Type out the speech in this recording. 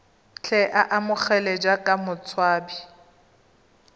tle a amogelwe jaaka motshabi